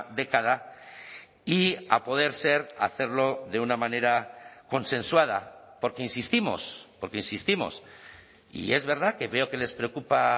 década y a poder ser hacerlo de una manera consensuada porque insistimos porque insistimos y es verdad que veo que les preocupa